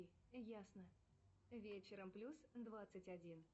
джой погода в ближайшее время